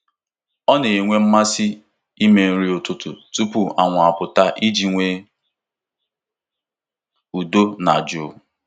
Ọ na-enwe mmasị ime nri ụtụtụ tupu anwụ apụta iji nwee udo na jụụ.